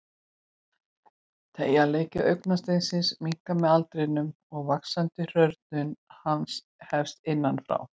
Teygjanleiki augasteinsins minnkar með aldrinum og vaxandi hrörnun hans hefst innan frá.